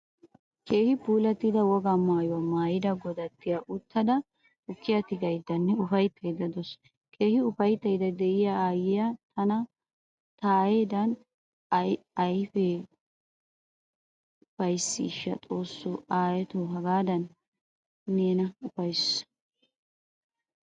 Keehin puulatida wogaa maayuwaa maayida godattiyaa uttada tukkiyaa tigaydanne ufayttada deawusu. Keehin ufayttayda deiya aayiyaa tana taayedan ayfa uffysaysha xoosso aayotta hagadan neeni ufayssa.